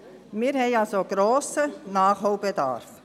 Wir haben also einen grossen Nachholbedarf.